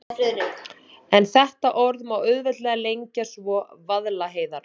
En þetta orð má auðveldlega lengja svo: Vaðlaheiðar.